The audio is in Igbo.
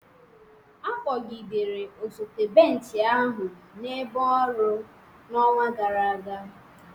a kpọgidere osote bench ahụ n'ebe ọrụ n'ọnwa gara aga